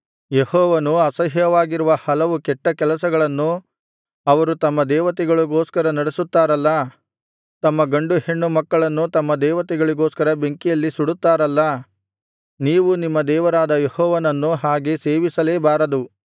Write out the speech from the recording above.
ಯೆಹೋವನಿಗೆ ಅಸಹ್ಯವಾಗಿರುವ ಹಲವು ಕೆಟ್ಟಕೆಲಸಗಳನ್ನು ಅವರು ತಮ್ಮ ದೇವತೆಗಳಿಗೋಸ್ಕರ ನಡಿಸುತ್ತಾರಲ್ಲಾ ತಮ್ಮ ಗಂಡು ಹೆಣ್ಣು ಮಕ್ಕಳನ್ನು ತಮ್ಮ ದೇವತೆಗಳಿಗೋಸ್ಕರ ಬೆಂಕಿಯಲ್ಲಿ ಸುಡುತ್ತಾರಲ್ಲಾ ನೀವು ನಿಮ್ಮ ದೇವರಾದ ಯೆಹೋವನನ್ನು ಹಾಗೆ ಸೇವಿಸಲೇಬಾರದು